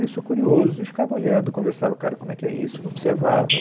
E Eu sou curioso e ficava olhando, conversava com o cara como é que é isso, e observava.